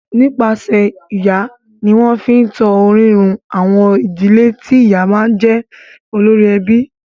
Nípasẹ̀ ìyá ni wọ́n fi ń tan orírun àwọn ìdílé tí ìyá ti máa ń jẹ́ olórí ẹbí.